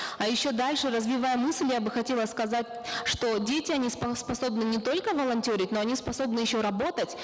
а еще дальше развивая мысль я бы хотела сказать что дети они способны не только волонтерить но они способны еще работать